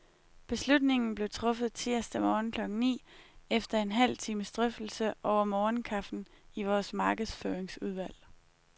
Beslutningen blev truffet tirsdag morgen klokken ni, efter en halv times drøftelse over morgenkaffen i vores markedsføringsudvalg.